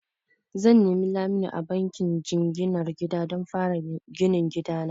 Zan nemi lamuni a bankin jinginar gida don fara ginin gida na.